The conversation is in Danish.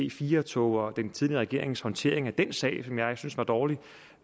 ic4 tog og den tidligere regerings håndtering af den sag som jeg synes var dårlig